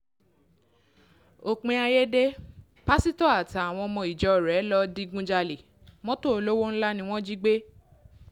òpin ayé dé pásítọ̀ àtàwọn ọmọ ìjọ rẹ̀ ìjọ rẹ̀ lọ́ọ́ digunjalè mọ́tò olówó ńlá ni wọ́n jí gbé